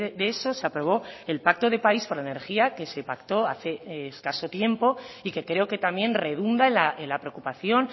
de eso se aprobó el pacto de país por la energía que se pactó hace escaso tiempo y que creo que también redunda en la preocupación